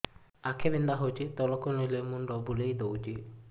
ଆଖି ବିନ୍ଧା ହଉଚି ତଳକୁ ଚାହିଁଲେ ମୁଣ୍ଡ ବୁଲେଇ ଦଉଛି